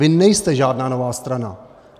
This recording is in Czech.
Vy nejste žádná nová strana.